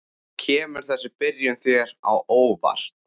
Kemur þessi byrjun þér á óvart?